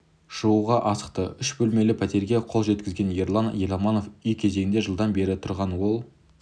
шығуға асықты үш бөлмелі пәтерге қол жеткізген ерлан еламанов үй кезегінде жылдан бері тұрған ол